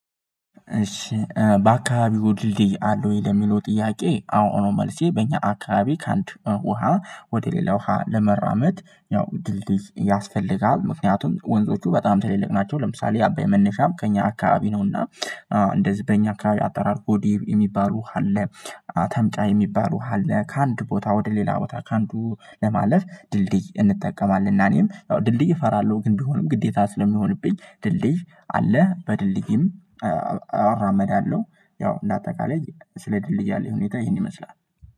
እሺ በአካባቢው ድልድይ አለው ወይ ለሚለው ጥያቄ አዎ ነው? መልሴ በእኛ አካባቢ ከአንድ ውሃ ወደ ሌላ ውሃ ለመራመድ ያው ድልድይ ያስፈልጋል ምክንያቱም ወንዞቹ በጣም ተልልቅ ናቸው ለምሳሌ አባይ መነሻም ከእኛ አካባቢ ነውና። እንደዚህ በእኛ አካባቢ አጠራርጎ ዴቭ የሚባሉ ውሃ አለ። አተመጫ የሚባሉ ዉሃ አለ ከአንድ ቦታ ወደ ሌላ ቦታ ከአንዱ ለማለፍ ድልድይ እንጠቀማለን። እና እኔም ያው ድልድይ እፈራለሁ ግን ቢሆንም ግዴታ ስለሚሆንብኝ ድልድይ አለ በድልድይም አራመዳለሁ። ያው እንደ አጠቃላይ ስለ ድልድይ አለኝ ሁኔታ ይሄን ይመስላል።